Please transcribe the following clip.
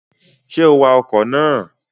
Ṣé o wa ọkọ̀ ná à?